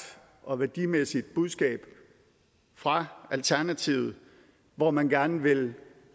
og værdimæssigt budskab fra alternativet hvor man gerne vil